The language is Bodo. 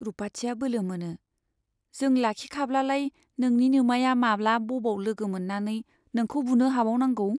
रुपाथिया बोलो मोनो , जों लाखिखाब्लालाय नोंनि नोमाया माब्ला, बबाव लोगो मोन्नानै नोंखौ बुनो हाबावनांगौ ?